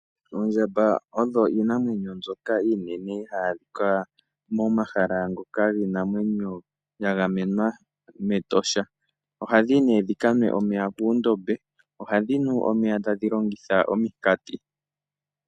Oondjamba odho iinamwenyo mbyoka iinene hayi adhika momahala ngoka giinamwenyo ya gamenwa mEtosha. Ohadhi kanwa omeya puundombe. Ohadhi nu omeya tadhi longitha ominkoti.